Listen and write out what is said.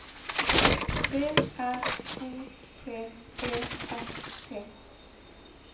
P R O T E S T